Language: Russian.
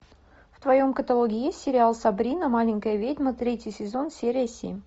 в твоем каталоге есть сериал сабрина маленькая ведьма третий сезон серия семь